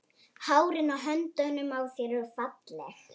Hárin á höndunum á þér eru falleg.